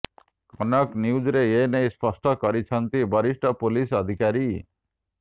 କନକ ନ୍ୟୁଜରେ ଏନେଇ ସ୍ପଷ୍ଟ କରିଛନ୍ତି ବରିଷ୍ଠ ପୁଲିସ୍ ଅଧିକାରୀ